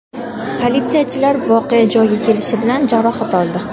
Politsiyachilar voqea joyiga kelishi bilan jarohat oldi.